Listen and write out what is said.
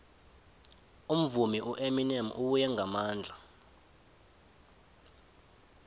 umvumi ueminem ubuye ngamandla